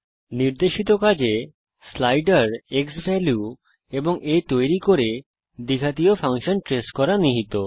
নির্দেশিত কাজে slider x value এবং aতৈরী করে দ্বিঘাতীয় ফাংশন ট্রেস করা নিহিত